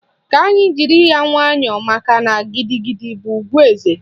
Ka anyị jiri ya nwayọọ makana gidigidi bụ ùgwù eze